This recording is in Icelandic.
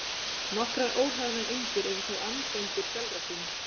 Nokkrar óhlaðnar eindir eru þó andeindir sjálfra sín.